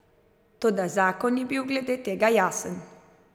Toda zakon je bil glede tega jasen.